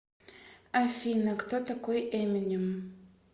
афина кто такой эминем